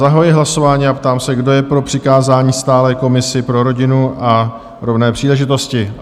Zahajuji hlasování a ptám se, kdo je pro přikázání stálé komisi pro rodinu a rovné příležitosti?